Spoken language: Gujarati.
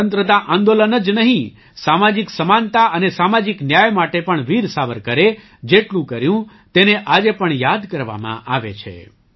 સ્વતંત્રતા આંદોલન જ નહીં સામાજિક સમાનતા અને સામાજિક ન્યાય માટે પણ વીર સાવરકરે જેટલું કર્યું તેને આજે પણ યાદ કરવામાં આવે છે